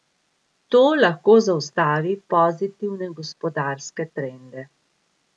To lahko zaustavi pozitivne gospodarske trende.